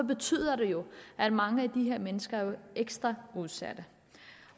betyder det jo at mange af de her mennesker er ekstra udsatte